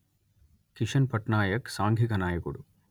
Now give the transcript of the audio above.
కిషన్ పట్నాయక్ సాంఘిక నాయకుడు